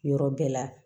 Yɔrɔ bɛɛ la